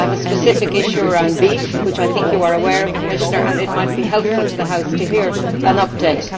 I have a specific issue around beef which I think you are aware of, and it might be helpful to the House to hear an update.